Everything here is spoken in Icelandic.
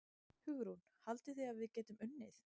Hugrún: Haldið þið að við getum unnið?